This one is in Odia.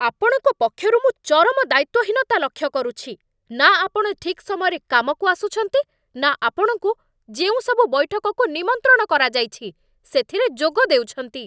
ଆପଣଙ୍କ ପକ୍ଷରୁ ମୁଁ ଚରମ ଦାୟିତ୍ଵହୀନତା ଲକ୍ଷ୍ୟ କରୁଛି, ନା ଆପଣ ଠିକ୍ ସମୟରେ କାମକୁ ଆସୁଛନ୍ତି, ନା ଆପଣଙ୍କୁ ଯେଉଁସବୁ ବୈଠକକୁ ନିମନ୍ତ୍ରଣ କରାଯାଇଛି ସେଥିରେ ଯୋଗ ଦେଉଛନ୍ତି।